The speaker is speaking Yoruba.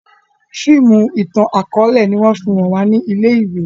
fíìmù itan-akọọlẹ ní wón fí hàn wa ní ilé ìwé.